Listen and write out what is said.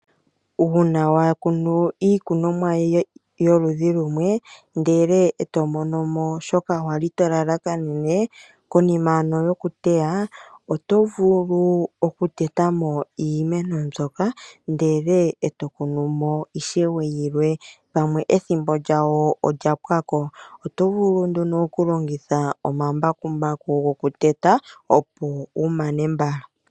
Uuna wakunu iikunomwa yoludhi lumwe, ndele eto monomo shoka wali tolalakanene , konima yokuteya oto vulu okutetamo iimeno mbyoka ndele eto kunu mo ishewe pamwe ethimbo lyawo olya pwako. Oto vulu nduno okulongitha omambakumbaku gokuteta opo wumane mbala.